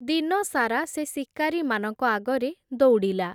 ଦିନସାରା ସେ ଶିକାରୀମାନଙ୍କ ଆଗରେ ଦୌଡ଼ିଲା ।